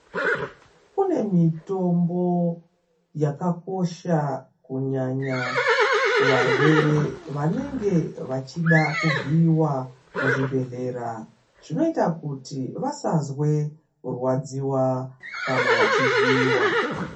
Kune mitombo yakakosha kunyanya kuvarwere vanenge vachida kuvhiyiwa muzvibhedhlera zvinoita kuti vasazwe kurwadziwa kana vachivhiyiwa.